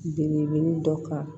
Belebele dɔ kan